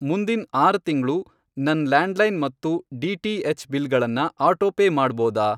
ಮುಂದಿನ್ ಆರು ತಿಂಗ್ಳು ನನ್ ಲ್ಯಾಂಡ್ಲೈನ್ ಮತ್ತು ಡಿ.ಟಿ.ಹೆಚ್. ಬಿಲ್ಗಳನ್ನ ಆಟೋಪೇ ಮಾಡ್ಬೋದಾ?